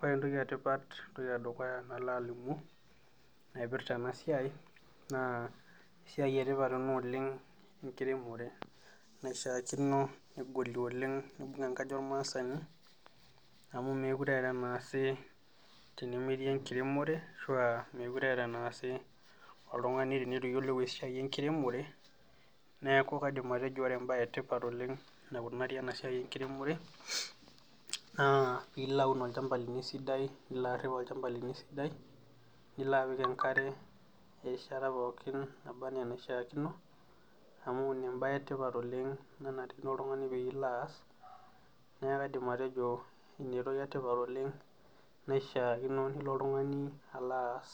Ore entoki etipat entoki edukuya nalo alimu, naipirta ena siai naa esiai etipat ena oleng enkiremore naishakino negolie enkaji ormaasani amu mookure eeta enaasitae metii enkiremore ashua meekure eeta enaasitae oltungani teneitu iyiolou esiai enkiremore ,neeku kaidim atejo ore embae etipat oleng naikunari ena siai enkiremore ,naa tenilo aun olchampa lino esidai nilo arip olchampa lino esidai nilo apik enkare erishata pookin naba enaa enaishaakino ,amu ina embae etipat oleng naishaakino oltungani tenilo aas ,neeku kaidim atejo ina entoki etipat naishaakino nilo oltungani alo aas